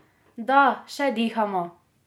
Da še dihamo!